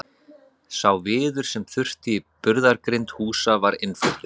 Sá viður sem þurfti í burðargrind húsa var innfluttur.